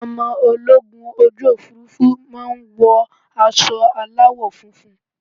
Àwọn ọmọ ológun ojú Òfurufú máa ń wọ aṣọ aláwọ̀ funfun.